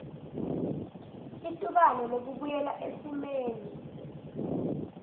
litubane lekubuyela esimeni